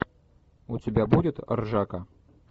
у тебя будет ржака